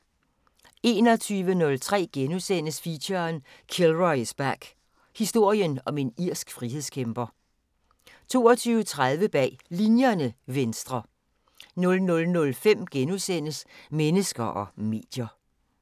21:03: Feature: Kilroy is back – Historien om en irsk frihedskæmper * 22:30: Bag Linjerne – Venstre 00:05: Mennesker og medier *